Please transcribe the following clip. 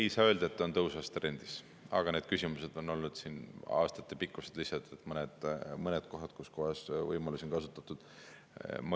Ei saa öelda, et ta on tõusvas trendis, aga need küsimused on olnud siin aastaid, lihtsalt on mõned kohad, kus kohas neid võimalusi on kasutatud.